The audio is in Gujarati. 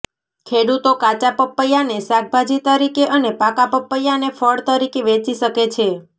ખેડૂતો કાચા પપૈયાને શાકભાજી તરીકે અને પાકા પપૈયાને ફળ તરીકે વેચી શકે છે